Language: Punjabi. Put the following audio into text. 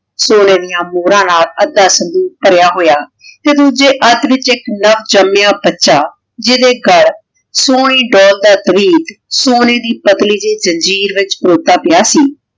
ਸੋਨੇ ਡਿਯਨ ਮੋਹਰਾਂ ਨਾਲ ਆਧਾ ਸੰਦੂਕ਼ ਭਾਰਯ ਹੋਯਾ ਤੇ ਦੋਜਯ ਅਧ ਵਿਚ ਏਇਕ ਨਵ ਜਾਮ੍ਯਾ ਬਚਾ ਜਿਡੇ ਗਲ ਸੋਨੇ ਦਾ ਤਵੀਤ ਸੋਨੇ ਦੀ ਪਤਲੀ ਜੈ ਜੰਜੀਰ ਵਿਚ ਪਾਯਾ ਸੀ